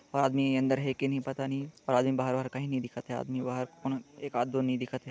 आदमी अंदर हे के नहीं पता नहीं और आदमी बहार-वाहर कही नहीं दिखत हे आदमी बाहर कोन एकात-दो नई दिखत हे।